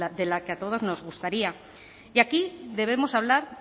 de la que a todos nos gustaría y aquí debemos hablar